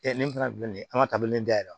nin fana filɛ nin ye an ka tabilen dayɛlɛ